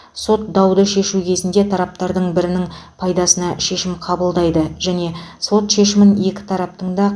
сот дауды шешу кезінде тараптардың бірінің пайдасына шешім қабылдайды және сот шешімін екі тараптың да